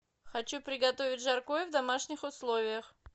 хочу приготовить жаркое в домашних условиях